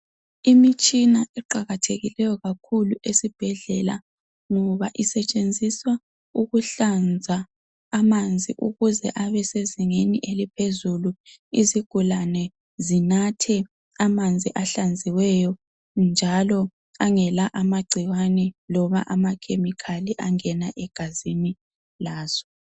Imitshina eqakathekileyo kakhulu esibhedlela ngoba isetshenziswa ukuhlanza amanzi ukuze abe sezingeni eliphezulu, izigulane zinathe amanzi ahlenziweyo njalo angela amagcikwane loba amakhemikhali angena egazini lazo.